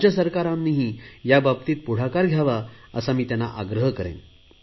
राज्य सरकारांनीही या बाबतीत पुढाकार घ्यावा असा मी त्यांना आग्रह करतो